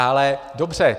Ale dobře.